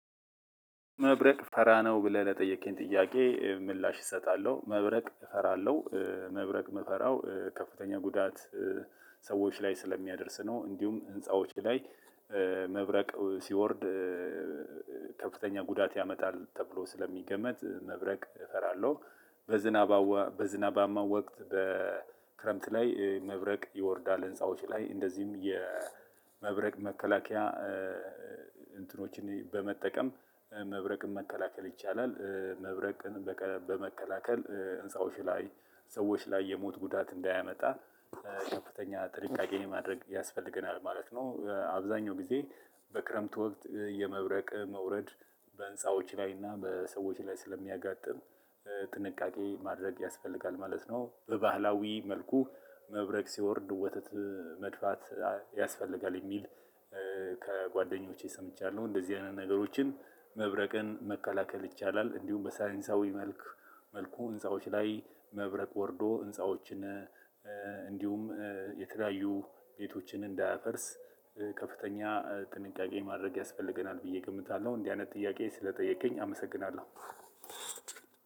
መብረቅ ፈራ ነው ብለህ ነው ለጠየከኝ ጥያቄ ምላሽ እሰጣለሁ። መብረቅ እፈራለሁ መብረቅ ምፈራው ከፍተኛ ጉዳት ሰዎች ላይ ስለሚያደርስ ነው። እንዲሁም ህንፃዎች ላይ መብረቅ ሲወርድ ከፍተኛ ጉዳት ያመጣል ተብሎ ስለሚገመት መብረቅ እፈራለሁ። በዝናባዋ በዝናባማ ወቅት በክረምት ላይ መብረቅ ይወርዳል ህንፃዎች ላይ እንደዚሁም የመብረቅ መከላከያ እንትኖችን በመጠቀም መብረቅን መከላከል ይቻላል። መብረቅን በመከላከል ህንፃዎች ላይ ሰዎች ላይ የሞት ጉዳት እንዳያመጣ ከፍተኛ ጥልቃቄን ማድረግ ያስፈልገናል ማለት ነው። አብዛኛው ጊዜ በክረምት ወቅት የመብረቅ መውረድ በህንፃዎች ላይ እና በሰዎች ላይ ስለሚያጋጥም ጥንቃቄ ማድረግ ያስፈልጋል ማለት ነው። በባህላዊ መልኩ መብረቅ ሲወርድ ወተት መድፋት ያስፈልጋል የሚል ከጓደኞቼ ሰምቻለሁ። እንደዚህ አይነት ነገሮችን መብረቅን መከላከል ይቻላል። እንዲሁም በሳይንሳዊ መልክ መልኩ ህንፃዎች ላይ መብረቅ ወርዶ ህንፃዎችን እንዲሁም የተለያዩ ቤቶችን እንዳያፈርስ ከፍተኛ ጥንቃቄ ማድረግ ያስፈልገናል ብዬ እገምታለሁ። እንዲህ አይነት ጥያቄ ስለጠየከኝ አመሰግናለሁ።